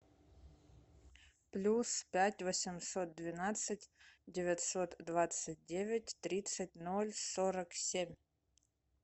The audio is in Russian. плюс пять восемьсот двенадцать девятьсот двадцать девять тридцать ноль сорок семь